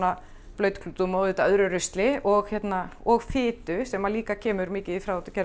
blautklútum og öðru rusli og og fitu sem líka kemur mikið í